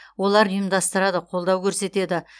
олар ұйымдастырады қолдау көрсетеді